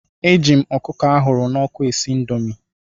Eji m ọkụkọ ahụrụ n'ọkụ esi indomi.